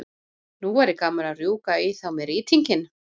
Nú væri gaman að rjúka í þá með rýtinginn.